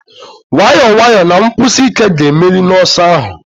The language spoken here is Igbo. Nwayọọ nwayọọ na nkwụsi ike ga-emeri n'ọsọ ahụ.